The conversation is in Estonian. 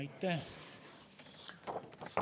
Aitäh!